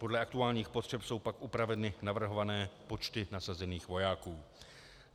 Podle aktuálních potřeb jsou pak upraveny navrhované počty nasazených vojáků.